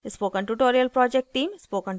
spoken tutorial project team